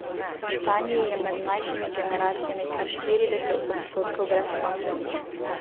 V Španiji je med mlajšimi generacijami kar štirideset odstotkov brezposelnih ...